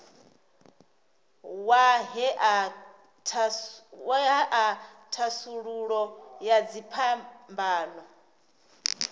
wa ṅea thasululo ya dziphambano